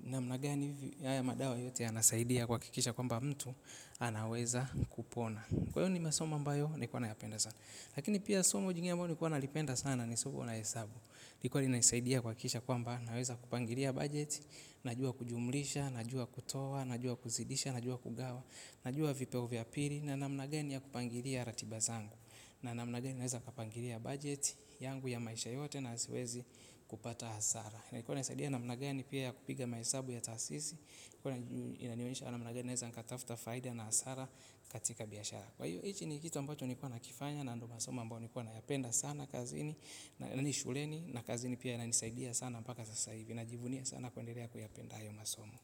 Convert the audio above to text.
Namna gani haya madawa yote yanasaidia kuhakikisha kwamba mtu anaweza kupona. Kwa hio ni masomo ambayo nilikuwa nayapenda sana. Lakini pia somo jingine ambalo nilikuwa nalipenda sana ni somo la hesabu lilikuwa linanisaidia kuhakikisha kwamba naweza kupangilia budget. Najua kujumlisha, najua kutoa. Najua kuzidisha, najua kugawa. Najua vipeo vya pili. Na namna gani ya kupangilia ratiba zangu. Namna gani naweza kupangilia budget yangu ya maisha yote na siwezi kupata hasara na ilikuwa inanisaidia namna gani pia ya kupiga mahesabu ya taasisi. Ilikuwa inanionyesha namna gani naweza nikatafuta faida na hasara katika biashara. Kwa hiyo hichi ni kitu ambacho nikuwa nakifanya na ndo masomo ambayo nilikuwa nayapenda sana kazini na ni shuleni na kazini pia inanisaidia sana mpaka sasa hivi. Inajivunia sana kuendelea kuyapenda hayo masomo.